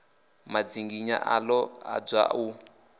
madzinginywa a ḓo adzwa u